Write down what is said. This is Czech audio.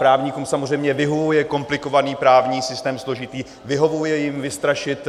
Právníkům samozřejmě vyhovuje komplikovaný právní systém složitý, vyhovuje jim vystrašit